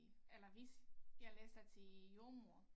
Eller hvis jeg læser til jordemoder